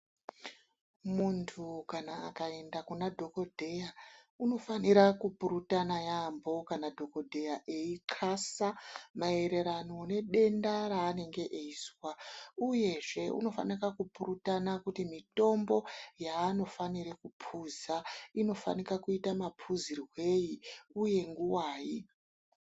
Muntu kana akaenda kuna dhokodheya unofanira kupurutana yaambo kana dhokodheya eyixasa maererano nedenda raanenge eizwa, uyezve unofanika kupurutana kuti mutombo yaanofanire kuphuza unofanira kuita maphuzirwei uye nguwai.